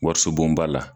Wariso bonba la